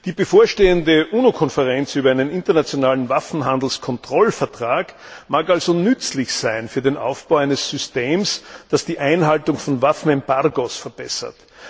Die bevorstehende UNO Konferenz über einen internationalen Waffenhandelskontrollvertrag mag also nützlich sein für den Aufbau eines Systems, das die Einhaltung von Waffenembargos verbessert.